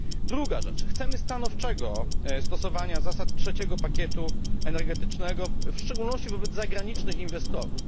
Druga rzecz chcemy stanowczego stosowania zasad trzeciego pakietu energetycznego w szczególności wobec zagranicznych inwestorów.